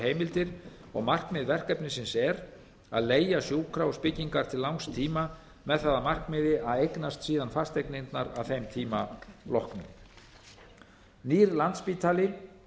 heimildir og markmið verkefnisins er að leigja sjúkrahúsbyggingar til langs tíma með það að markmiði að eignast síðan fasteignirnar að þeim tíma loknum nýr landspítali